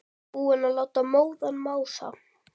Búinn að láta móðan mása.